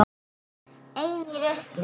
Ein í rusli.